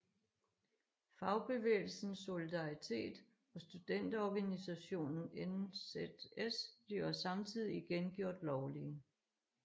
Fagbevægelsen Solidaritet og studenterorganisationen NZS bliver samtidig igen gjort lovlige